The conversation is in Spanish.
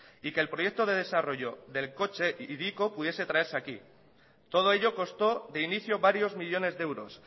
y que el proyecto de desarrollo del coche hiriko pudiese traerse aquí todo ello costó de inicio varios millónes de euros